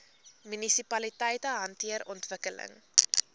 munisipaliteite hanteer ontwikkeling